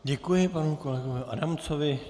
Děkuji panu kolegovi Adamcovi.